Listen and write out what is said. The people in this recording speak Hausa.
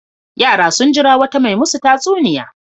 Yara sun jira wata mai masu tatsuniya.